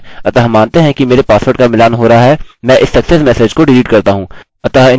अतः मानते हैं कि मेरे पासवर्ड का मिलान हो रहा है मैं इस सक्सेस मेसेज को डिलीट करता हूँ